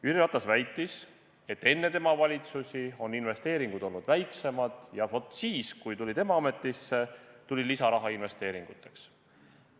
Jüri Ratas väitis, et enne tema valitsusi on investeeringud olnud väiksemad ja vaat siis, kui tema astus ametisse, tuli lisaraha investeeringuteks.